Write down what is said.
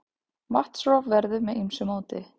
Vatnsrof verður með ýmsu móti.